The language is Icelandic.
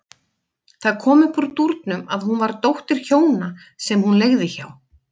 Það kom upp úr dúrnum að hún var dóttir hjóna sem hún leigði hjá.